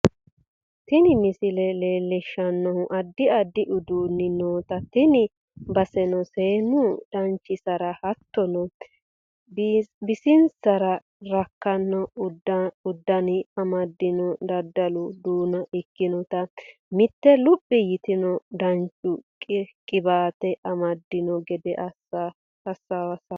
Tinni misille lelishannohu addi addi uddunii noota tiini bassenno sennu dananchinsara hattono biisinsara riikano uudune amdiino dadallu duuna iikinota miite luuphi yiitno dananchu qibatte amadiino geede xawisanno.